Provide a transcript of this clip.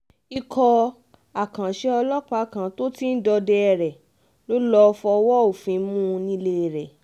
ikọ̀ àkànṣe ọlọ́pàá kan um tó ti ń dọdẹ rẹ̀ ló lọ́ọ́ fọwọ́ um òfin mú un nílé rẹ̀